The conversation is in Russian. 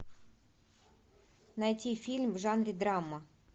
найти фильм в жанре драма